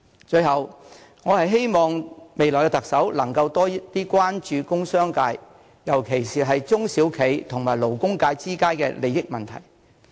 最後，我希望未來的特首能夠多關注工商界，尤其是中小企和勞工界之間的利益問題。